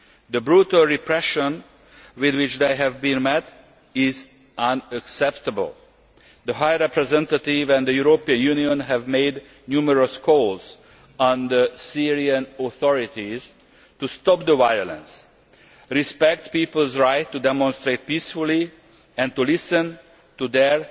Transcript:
The brutal repression with which they have been met is unacceptable. The High Representative and the European Union have made numerous calls on the Syrian authorities to stop the violence, respect people's right to demonstrate peacefully and to listen to their